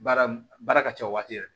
Baara baara ka ca o waati yɛrɛ